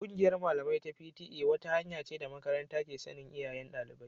Kungiyar malamai ta iyaye (P.T.A) wata hanya ce da makaranta ke sanin iyayen dalibai